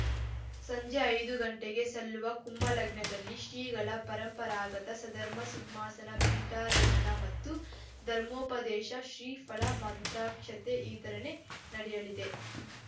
ಸಂಜೆ ಐದು ಗಂಟೆಗೆ ಸಲ್ಲುವ ಕುಂಭ ಲಗ್ನದಲ್ಲಿ ಶ್ರೀಗಳ ಪರಂಪರಾಗತ ಸದ್ಧರ್ಮ ಸಿಂಹಾಸನ ಪೀಠಾರೋಹಣ ಮತ್ತು ಧರ್ಮೋಪದೇಶ ಶ್ರೀ ಫಲ ಮಂತ್ರಾಕ್ಷತೆ ವಿತರಣೆ ನಡೆಯಲಿದೆ